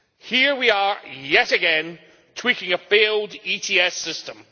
Here we are yet again tweaking a failed ETS system.